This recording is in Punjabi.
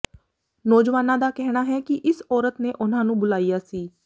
ਨੌਜਵਾਨਾਂ ਦਾ ਕਹਿਣਾ ਹੈ ਕਿ ਇਸ ਔਰਤ ਨੇ ਉਨ੍ਹਾਂ ਨੂੰ ਬੁਲਾਇਆ ਸੀ